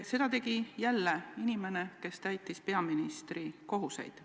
Seda tegi jälle inimene, kes täitis peaministri kohustusi.